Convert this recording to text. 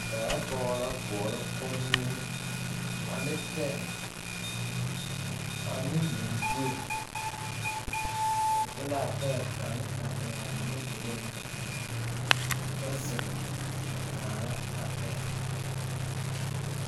Daa pɔge la koɔrɔ kommie ane pɛɛ ane lumbuie o de laa pɛɛ kaŋ a eŋaa o nudureeŋ kyɛ zeŋ a kaara a pɛɛ.